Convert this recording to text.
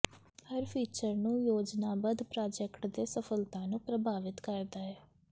ਹਰ feature ਨੂੰ ਯੋਜਨਾਬੱਧ project ਦੇ ਸਫਲਤਾ ਨੂੰ ਪ੍ਰਭਾਵਿਤ ਕਰਦਾ ਹੈ